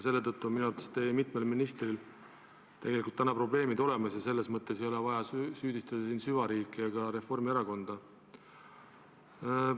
Selle tõttu on minu arvates teie mitmel ministril täna probleemid ja ei ole vaja süüdistada siin süvariiki ega ka Reformierakonda.